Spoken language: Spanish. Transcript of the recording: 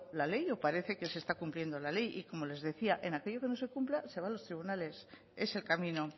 la ley o parece que se está cumpliendo la ley y como les decía en aquello que no se cumpla se va a los tribunales es el camino